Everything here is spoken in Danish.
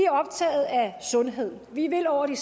optaget af sundhed vi vil over de